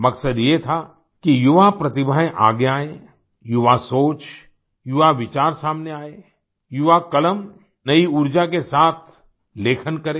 मक़सद यह था कि युवा प्रतिभाएं आगे आए युवासोच युवाविचार सामने आए युवा कलम नई ऊर्जा के साथ लेखन करे